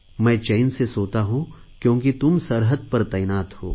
मैं चैन से सोता हूँ क्योंकि तुम सरहद पर तैनात हो